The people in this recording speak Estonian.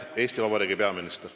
Eesti Vabariigi peaministrina.